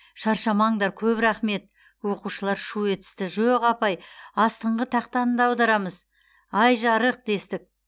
шаршамаңдар көп рақмет оқушылар шу етісті жоқ апай астыңғы тақтаны да аударамыз ай жарық дестік